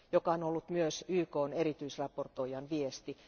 Se on ollut myös YKn erityisraportoijan viesti.